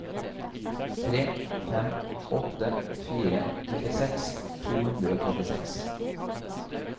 tre fem åtte fire trettiseks to hundre og trettiseks